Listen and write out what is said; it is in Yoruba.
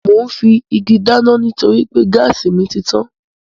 Mò ún fi igi dáná nítorí pé gáàsì mi títàn